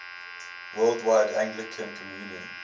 worldwide anglican communion